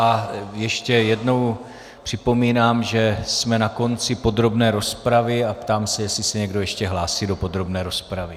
A ještě jednou připomínám, že jsme na konci podrobné rozpravy, a ptám se, jestli se někdo ještě hlásí do podrobné rozpravy.